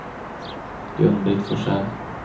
Gun-Britt Forsell